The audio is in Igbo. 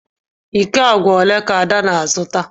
Iko agwa ole ka ada na-azụta?